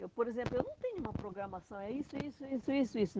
Eu, por exemplo, eu não tenho uma programação, é isso, isso, isso, isso, isso.